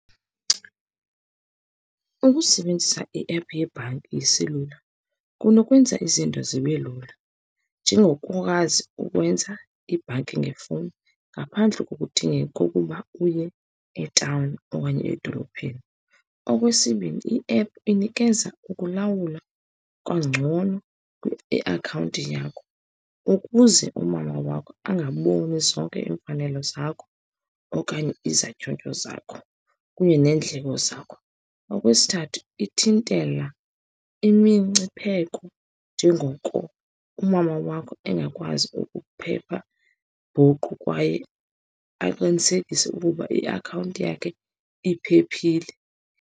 Ukusebenzisa iephu yebhanki yeselula kunokwenza izinto zibe lula, njengokwazi ukwenza ibhanki ngefowuni ngaphandle kokudingeka kokuba uye etawuni okanye edolophini. Okwesibini, iephu inikeza ukulawula kangcono iakhawunti yakho, ukuze umama wakho angaboni zonke iimfanelo zakho okanye izatyhotyho zakho kunye neendleko zakho. Okwesithathu, ithintela imingcipheko, njengoko umama wakho engakwazi ukuphepha nguqu kwaye aqinisekise ukuba iakhawunti yakhe iphephile.